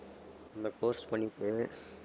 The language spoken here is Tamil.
அந்த course பண்ணிட்டு